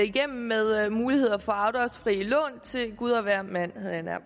igennem med muligheder for afdragsfrie lån til gud og hvermand havde jeg nær